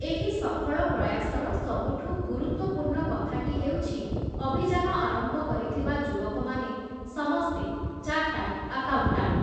ଏହି ସଫଳ ପ୍ରୟାସର ସବୁଠୁ ଗୁରୁତ୍ୱପୂର୍ଣ୍ଣ କଥାଟି ହେଉଛି ଅଭିଯାନ ଆରମ୍ଭ କରିଥିବା ଯୁବକମାନେ ସମସ୍ତେ ଚାର୍ଟାର୍ଡ଼ ଆକାଉଣ୍ଟାଣ୍ଟ ।